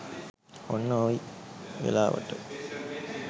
ඔන්න ඔයි වෙලාවට